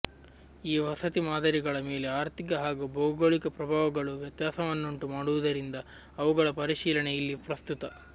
ಈ ವಸತಿ ಮಾದರಿಗಳ ಮೇಲೆ ಆರ್ಥಿಕ ಹಾಗೂ ಭೌಗೋಳಿಕ ಪ್ರಭಾವಗಳು ವ್ಯತ್ಯಾಸವನ್ನುಂಟು ಮಾಡುವುದರಿಂದ ಅವುಗಳ ಪರಿಶೀಲನೆ ಇಲ್ಲಿ ಪ್ರಸ್ತುತ